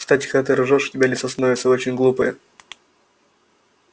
кстати когда ты ржёшь у тебя лицо становится очень глупое